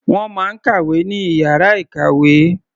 Wọ́n máa ń kàwé ní ìyára ìkàwé.